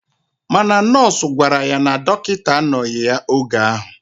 Mana nọọsụ gwara ya na dokita anoghi ya oge ahu.